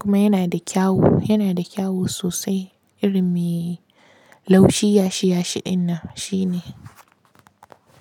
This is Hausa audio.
kuma yana da kyau, yana da kyau sosai iri mai laushi yashi yashi ɗinan shi ne.